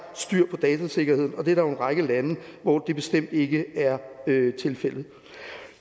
styr på datasikkerheden og der er en række lande hvor det bestemt ikke er tilfældet